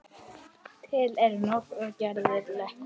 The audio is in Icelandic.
Til eru nokkrar gerðir leturs